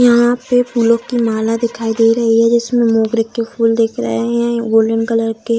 यहां पे फूलो की माला दिखाई दे रही है जिसमे मोगरे के फूल दिख रहे है गोल्डेन कलर के --